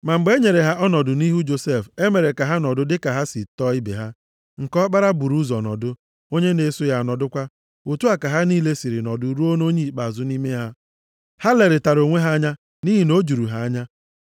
Ma mgbe e nyere ha ọnọdụ nʼihu Josef, e mere ka ha nọdụ dịka ha si tọọ ibe ha. Nke ọkpara buru ụzọ nọdụ, onye na-eso ya anọdụkwa. Otu a ka ha niile siri nọdụ ruo nʼonye ikpeazụ nʼime ha. Ha lerịtara onwe ha anya nʼihi na o juru ha anya.